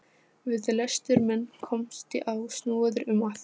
laug hún blygðunarlaust og hló hátt.